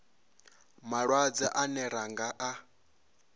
malwadze ane ra nga a